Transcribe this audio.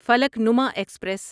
Falaknuma express